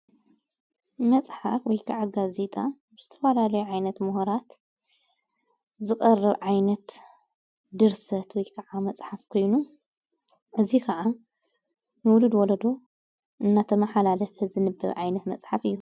መጽሓር ወይከዓጋ ዜጣ ምስተዋላለዮ ዓይነት ምሁራት ዝቐርብ ዓይነት ድርሰት ወይ ከዓ መጽሓፍ ኮይኑ እዙይ ከዓ ንውሉድ ወለዶ እናተ መሓላለፈ ዝንብብ ዓይነት መጽሓፍ እዩ።